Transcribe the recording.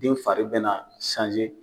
Denw fari be na